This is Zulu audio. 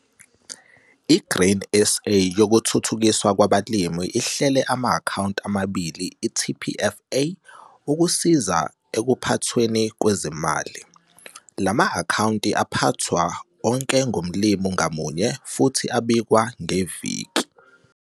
I-Grain SA yokuThuthukiswa kwabaLimi ihlele ama-akhawunti abalimi i-TPFA ukusiza ekuphathweni kwezimali. Lama akhawunti aphathwa onke ngomlumi ngamunye futhi abikwa ngeviki.